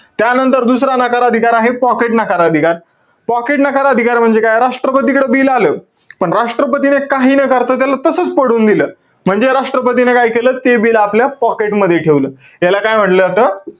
त्यानंतर दुसरा नकार अधिकार आहे, pocket नकार अधिकार. Pocket नकार अधिकार म्हणजे काय? राष्ट्रपतीकडे bill आलं. पण राष्ट्रपतीने काही न करता, त्याला तसच पडून दिलं. म्हणजे राष्ट्रपतीने काय केलं? ते bill आपल्या pocket मध्ये ठेवलं. याला काय म्हंटल जातं?